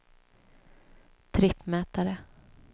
trippmätare